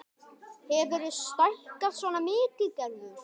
Hefurðu stækkað svona mikið, Gerður?